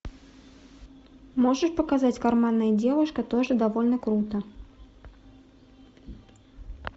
можешь показать карманная девушка тоже довольно круто